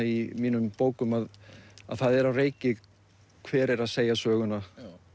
í mínum bókum að það er á reiki hver er að segja söguna